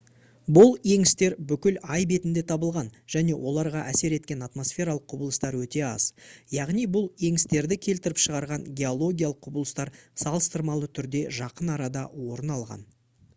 бұл еңістер бүкіл ай бетінде табылған және оларға әсер еткен атмосфералық құбылыстар өте аз яғни бұл еңістерді келтіріп шығарған геологиялық құбылыстар салыстырмалы түрде жақын арада орын алған